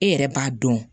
E yɛrɛ b'a dɔn